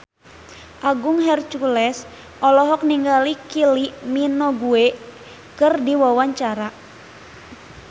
Agung Hercules olohok ningali Kylie Minogue keur diwawancara